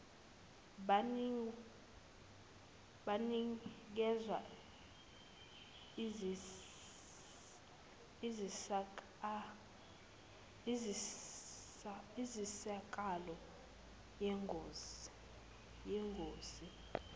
banikezwa insizakalo yengosi